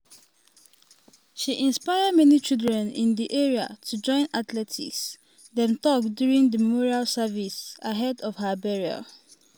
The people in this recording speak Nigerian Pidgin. "she inspire many children in di area to join athletics" dem tok during di memorial service ahead of her burial.